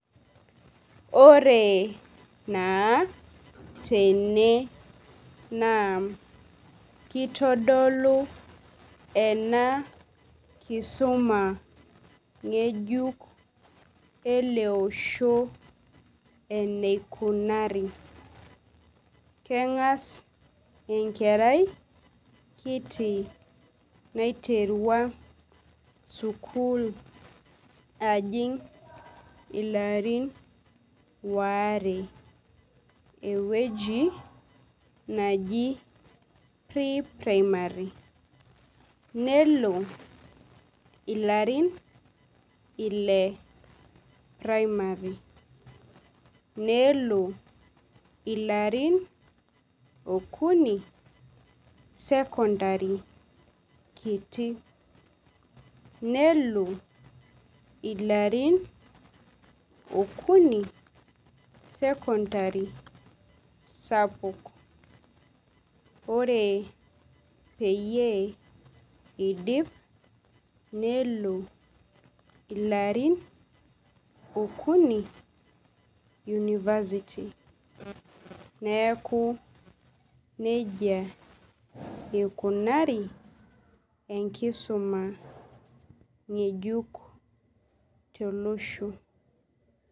Ore naa tene naa kitodolu ena kisuma ng,ejuk elo osho enaikunari keng'as enkerai kiti naiterua sukuul ajing' ilarin aare ewueji naji pri-primary nelo ilarin ile primary nelo ilarin okuni secondary kiti nelo ilarin okuni secondary sapuk ore peyie iidim nelo ilarin okuni university neku nijia ikunari enkisuma ng'ejuk tolosho.